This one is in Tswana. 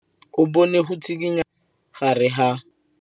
O bone go tshikinya ga noga ka fa gare ga majang.